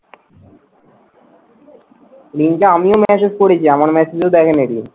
রিমিকে আমিও message করেছি, আমার message ও দেখেনি রিমি।